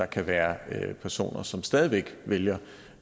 kan være personer som stadig væk vælger